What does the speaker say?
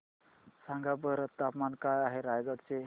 सांगा बरं तापमान काय आहे रायगडा चे